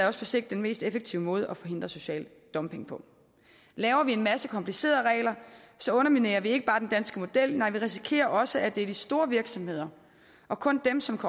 også på sigt den mest effektive måde at forhindre social dumping på laver vi en masse komplicerede regler underminerer vi ikke bare den danske model nej vi risikerer også at det er de store virksomheder og kun dem som